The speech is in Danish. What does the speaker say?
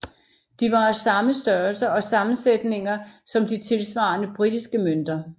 De var af samme størrelser og sammensætninger som de tilsvarende britiske mønter